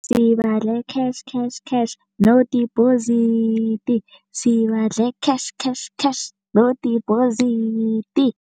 Sibadle cash cash cash no deposit, sibadle cash cash cash no deposit.